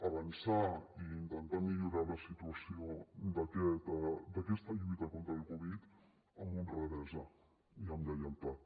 avançar i intentar millorar la situació d’aquesta lluita contra el covid amb honradesa i amb lleialtat